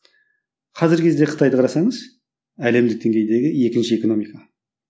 қазіргі кездегі қытайды қарасаңыз әлемдік деңгейдегі екінші экономика